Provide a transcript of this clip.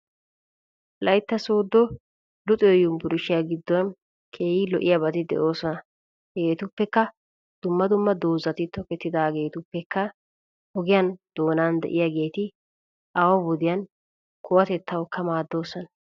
Wolaytta sooddo luxiyo yuunburshshiya giddon keehi lo"iyaabati de'oosona. Hegeetuppekka dumma dumma dozzati tokettidaageetuppekka ogiyaa doonan de"iyaageeti awaa wodiyan kuwatettawukka maaddoosona.